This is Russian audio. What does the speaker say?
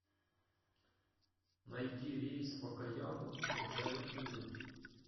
найди рейс в окаяму из джаяпуры